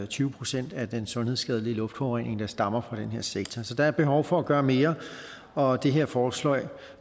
tyve procent af den sundhedsskadelige luftforurening der stammer fra den her sektor så der er behov for at gøre mere og det her forslag